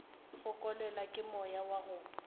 fokelwa ke moya wa go